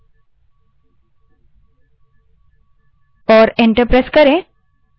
शब्दों में who type करें और enter दबायें